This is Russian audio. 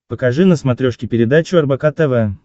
покажи на смотрешке передачу рбк тв